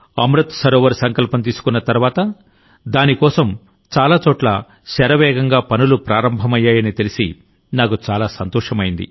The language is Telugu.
అమృత్ సరోవర్ సంకల్పం తీసుకున్న తర్వాతదాని కోసం చాలా చోట్ల శరవేగంగా పనులు ప్రారంభమయ్యాయని తెలిసి నాకు చాలా సంతోషమైంది